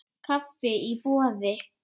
Kaffi í boði.